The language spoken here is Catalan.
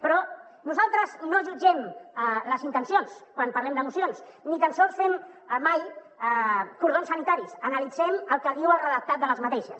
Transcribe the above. però nosaltres no jutgem les intencions quan parlem de mocions ni tan sols fem mai cordons sanitaris analitzem el que diu el redactat d’aquestes